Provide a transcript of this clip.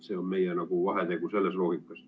See on meie vahetegu selles loogikas.